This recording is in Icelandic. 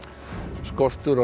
skortur á